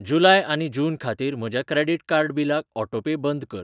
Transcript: जुलाय आनी जून खातीर म्हज्या क्रेडिट कार्ड बिलाक ऑटोपे बंद कर.